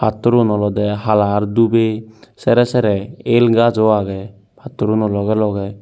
pattorun olodey hala ar dhubey serey serey el gajo agey pattor uno logey logey.